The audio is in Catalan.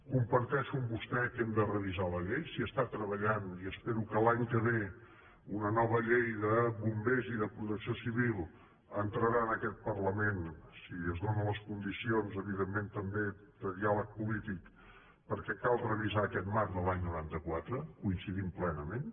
comparteixo amb vostè que hem de revisar la llei s’hi està treballant i espero que l’any que ve una nova llei de bombers i de protecció civil entrarà en aquest parlament si es donen les condicions evidentment també de diàleg polític perquè cal revisar aquest marc de l’any noranta quatre hi coincidim plenament